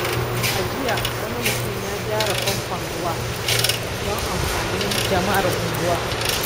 A jiya, wani mutum ya gyara famfon ruwa don amfanin jama’ar unguwa.